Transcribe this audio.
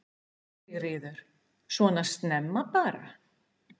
Sigríður: Svona snemma bara?